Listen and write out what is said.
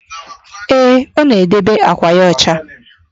Ee, ọ na-edebe àkwà ya ọcha.